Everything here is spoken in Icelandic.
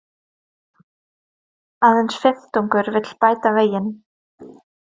Aðeins fimmtungur vill bæta veginn